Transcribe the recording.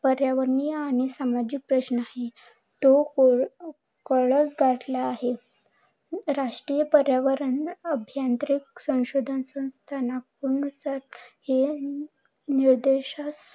पर्यावरणीय आणि सामाजिक प्रश्न आहे. राष्ट्रीय पर्यावरण अभियांत्रिकी संशोधन संस्थान निर्देश